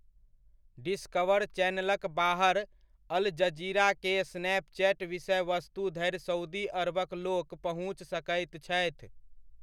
Discover चैनलक बाहर Al Jazeera के स्नैपचैट विषयवस्तु धरि सउदी अरबक लोक पहुँचि सकैत छथि।